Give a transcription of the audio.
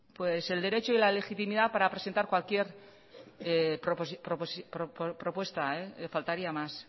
el derecho y la legitimidad para presentar cualquier propuesta faltaría más